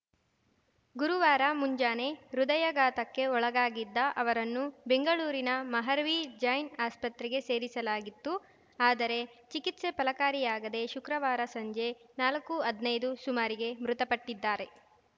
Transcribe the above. ಗುರುವಾರ ಮುಂಜಾನೆ ಹೃದಯಾಘಾತಕ್ಕೆ ಒಳಗಾಗಿದ್ದ ಅವರನ್ನು ಬೆಂಗಳೂರಿನ ಮಹಾರ್ವೀ ಜೈನ್‌ ಆಸ್ಪತ್ರೆಗೆ ಸೇರಿಸಲಾಗಿತ್ತು ಆದರೆ ಚಿಕಿತ್ಸೆ ಫಲಕಾರಿಯಾಗದೆ ಶುಕ್ರವಾರ ಸಂಜೆ ನಾಲ್ಕುಹದ್ನೈದು ಸುಮಾರಿಗೆ ಮೃತಪಟ್ಟಿದ್ದಾರೆ